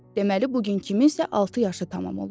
Deməli bu gün kiminsə altı yaşı tamam olur.